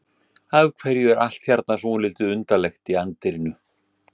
Af hverju er allt hérna svolítið undarlegt í anddyrinu?